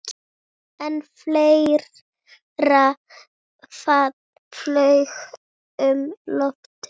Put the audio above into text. En fleira flaug um loftið.